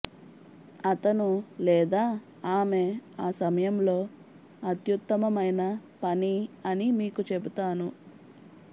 అతను లేదా ఆమె ఆ సమయంలో అత్యుత్తమమైన పని అని మీకు చెప్తాను